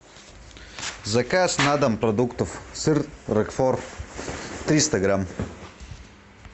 заказ на дом продуктов сыр рокфор триста грамм